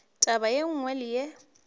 taba ye nngwe le ye